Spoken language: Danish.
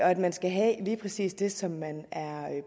at man skal have lige præcis det som man er